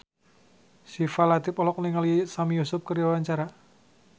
Syifa Latief olohok ningali Sami Yusuf keur diwawancara